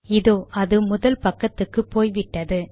இதோ அது முதல் பக்கத்துக்கே போய்விட்டது